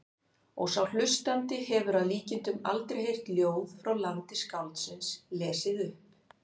Og sá hlustandi hefur að líkindum aldrei heyrt ljóð frá landi skáldsins lesið upp.